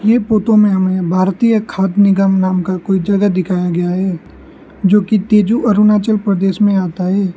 ये फोटो में हमें भारतीय खाद्य निगम नाम का कोई जगह दिखाया गया है जो कि तेजू अरुणाचल प्रदेश में आता है।